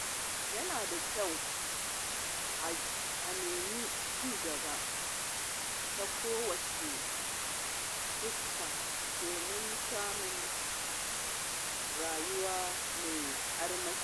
Yana da kyau a nemi ci gaba ta kowace fuska domin samun rayuwa mai armashi.